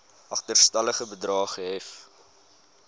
agterstallige bedrae gehef